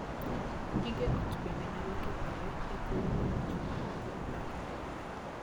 Gige ot bende nyalo kethore e thuolo ma dichwo kod dhako goree.